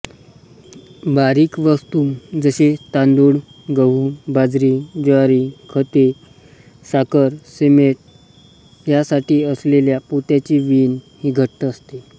बारीक वस्तूजसे तांदूळ गहू बाजरी ज्वारी खते साखरसिमेंट यासाठी असलेल्या पोत्यांची वीण ही घट्ट असते